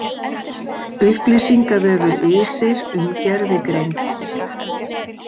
Upplýsingavefur ISIR um gervigreind.